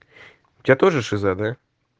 у тебя тоже шиза да